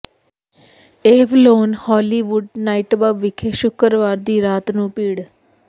Avalon Hollywood nightclub ਵਿਖੇ ਸ਼ੁੱਕਰਵਾਰ ਦੀ ਰਾਤ ਨੂੰ ਭੀੜ